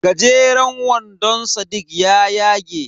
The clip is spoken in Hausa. Gajeran wandon sadiq ya yage.